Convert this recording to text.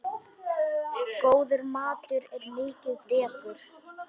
Góður matur er mikið dekur.